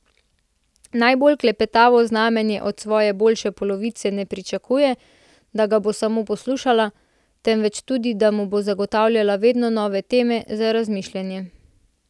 Najbolj klepetavo znamenje od svoje boljše polovice ne pričakuje, da ga bo samo poslušala, temveč tudi, da mu bo zagotavljala vedno nove teme za razmišljanje.